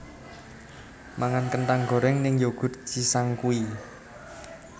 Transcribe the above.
Mangan kentang goreng ning Yoghurt Cisangkuy